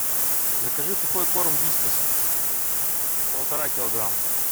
закажи сухой корм вискас полтора килограмма